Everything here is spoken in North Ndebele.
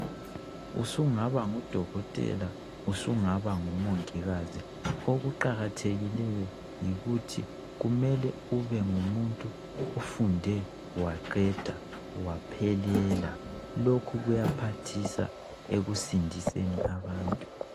Usungaba ngudokotela usungaba ngumongikazi okuqakathekileyo yikuthi kumele ubengumuntu ofundela aqeda waphelela lokhu kuyaphathisa ekusindiseni abantu.